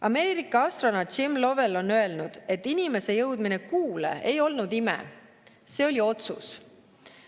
Ameerika astronaut Jim Lovell on öelnud, et inimese jõudmine Kuule ei olnud ime, see oli otsus.